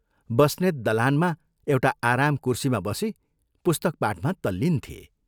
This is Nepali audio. बस्नेत दलानमा एउटा आराम कुर्सीमा बसी पुस्तक पाठमा तल्लीन थिए।